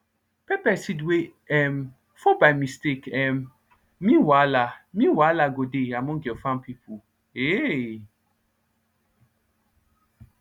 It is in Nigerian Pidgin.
pepper seed wey um fall by mistake um mean wahala mean wahala go dey among your farm people [heiii]